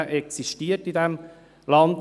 Dieser existiert in diesem Land.